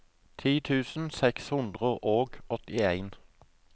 ti tusen seks hundre og åttien